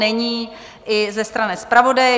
Není, i ze strany zpravodaje.